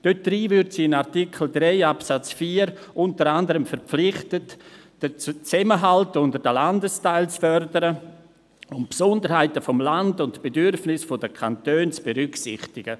Darin würde sie in Artikel 3 Absatz 4 unter anderem verpflichtet, den Zusammenhalt unter den Landesteilen zu fördern und die Besonderheiten des Landes sowie die Bedürfnisse der Kantone zu berücksichtigen.